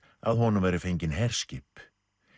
að honum væru fengin herskip